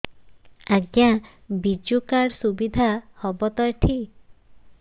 ଆଜ୍ଞା ବିଜୁ କାର୍ଡ ସୁବିଧା ହବ ତ ଏଠି